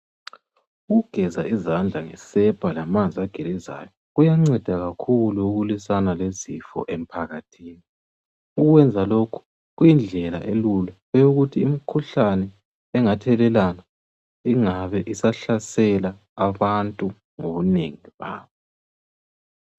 Ukugeza izandla ngesepa lamanzi agelezayo. Kuyanceda kakhulu ukulwisana lezifo emphakathini. Ukwenza lokhu kuyindlela elula eyokuthi imikhuhlane ebingathelelwana, ingabisahlasela abantu ngobunengi babo.